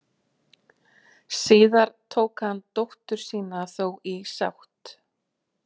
Síðar tók hann dóttur sína þó í sátt.